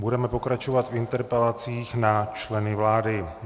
Budeme pokračovat v interpelacích na členy vlády.